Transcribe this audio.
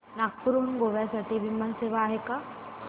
नागपूर हून गोव्या साठी विमान सेवा आहे का